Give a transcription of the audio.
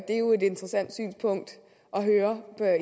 er jo et interessant synspunkt at høre